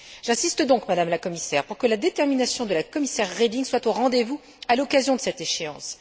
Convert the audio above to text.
J'insiste donc, Madame la Commissaire, pour que la détermination de la commissaire Reding soit au rendez vous à l'occasion de cette échéance.